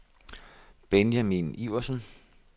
Benjamin Iversen